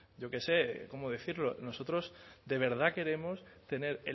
yo qué sé cómo decirlo nosotros de verdad queremos tener